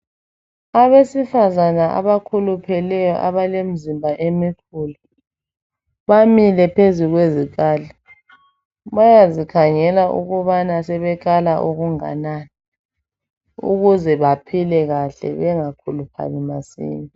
Abesifazane abakhulupheleyo abalemizimba emikhulu bamile phezu kwezikali , bayazikhangela ukubana sebekala okunganani ukuze baphile kahle bengakhuluphali masinya